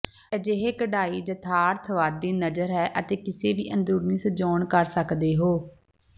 ਅਜਿਹੇ ਕਢਾਈ ਯਥਾਰਥਵਾਦੀ ਨਜ਼ਰ ਹੈ ਅਤੇ ਕਿਸੇ ਵੀ ਅੰਦਰੂਨੀ ਸਜਾਉਣ ਕਰ ਸਕਦੇ ਹੋ